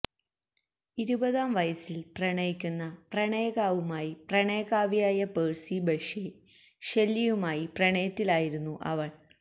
ഇരുപതാം വയസ്സിൽ പ്രണയിക്കുന്ന പ്രണയകാവുമായി പ്രണയകാവ്യയായ പേഴ്സി ബൈഷെ ഷെല്ലിയുമായി പ്രണയത്തിലായിരുന്നു അവൾ